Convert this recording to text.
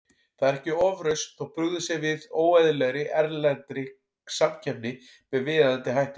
Það er ekki ofrausn þótt brugðist sé við óeðlilegri, erlendri samkeppni með viðeigandi hætti.